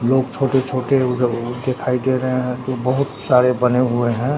लोग छोटे छोटे दिखाई दे रहे है जो बहुत सारे बने हुए है।